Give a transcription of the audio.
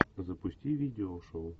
запусти видео шоу